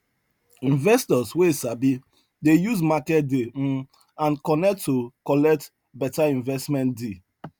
investors wey sabi dey use market day um and connect to collect better investment deal